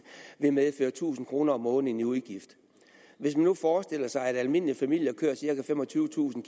vil medføre tusind kroner om måneden i udgift hvis man nu forestiller sig at almindelige familier kører cirka femogtyvetusind